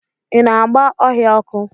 Ị na-agba ohia ọkụ?